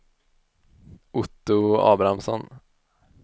Otto Abrahamsson